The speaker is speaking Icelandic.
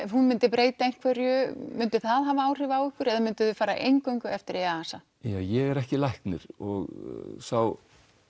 hún myndi breyta einhverju myndi það hafa áhrif á ykkur eða eingöngu eftir EASA ég er ekki læknir og sá